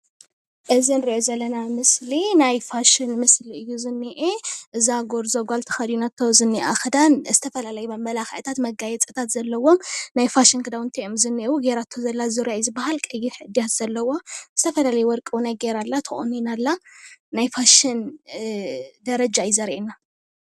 እዚ ንሪኦ ዘለና ምስሊ ናይ ፋሽን ምስሊ እዩ ዝኒአ፡፡ እዛ ጎርዞ ጓል ተኸዲናቶ ዝኒኣ ኽዳን ዝተፈላለየ መመላኽዕታት መጋየፂታት ዘለዎ ናይ ፋሽን ክዳውንቲ እዮም ዝኒአው። ጌራቶ ዘላ ዙርያ እዩ ዝባሃል ። ቀይሕ እድያት ዘለዎ፡፡ ዝተፈላለየ ወርቂ ውነይ ጌራ ኣላ። ተቆኒና ኣላ፡፡ ናይ ፋሽን እ ደረጃ እዩ ዘርየና፡፡